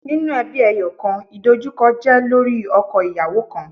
Ninu ẹbi ẹyọkan, idojukọ jẹ lori ọkọ-iyawo kan